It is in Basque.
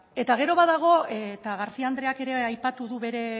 eta gero badago eta garcía andreak ere aipatu du bere